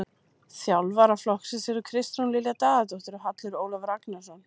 Þjálfara flokksins eru Kristrún Lilja Daðadóttir og Hallur Ólafur Agnarsson.